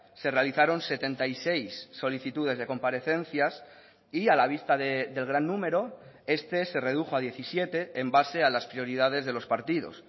se realizaron setenta y seis solicitudes de comparecencias y a la vista del gran número este se redujo a diecisiete en base a las prioridades de los partidos